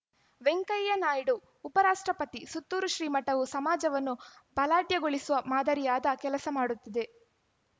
ವೆಂಕಯ್ಯ ನಾಯ್ಡು ಉಪರಾಷ್ಟ್ರಪತಿ ಸುತ್ತೂರು ಶ್ರೀಮಠವು ಸಮಾಜವನ್ನು ಬಲಾಢ್ಯಗೊಳಿಸುವ ಮಾದರಿಯಾದ ಕೆಲಸ ಮಾಡುತ್ತಿದೆ